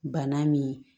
Bana min